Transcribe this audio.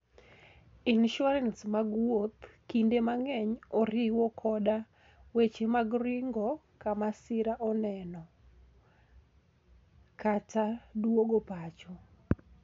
Insurances mag wuoth kinde mang'eny oriwo koda weche mag ringo ka masira oneno, kata duogo pacho.